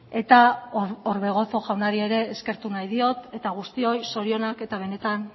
eta orbegozo jaunari ere eskertu nahi diot eta guztioi zorionak eta benetan